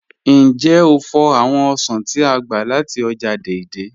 Njẹ́ o fò̩ awọn osàn t'á gba láti ọ́jà Dei-Dei?